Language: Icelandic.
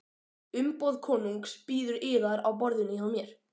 Umboð konungs bíður yðar á borðinu hjá mér.